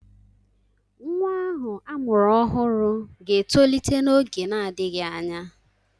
Nwa ahụ amụrụ ọhụrụ ga-etolite n'oge na-adịghị anya.